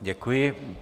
Děkuji.